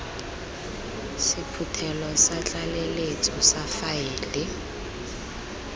sephuthelo sa tlaleletso sa faele